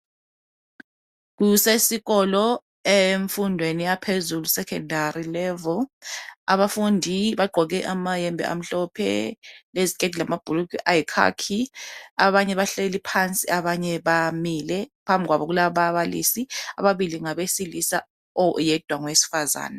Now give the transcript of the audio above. Kusesikolo emfundweni yaphezulu Secondary level. Abafundi bagqoke amayembe amhlophe leziketi lamabhulugwe ayi khakhi. Abanye bahleli phansi abanye bamile. Phambi kwabo kulababalisi ababili ngabesilisa oyedwa ngowesifazana.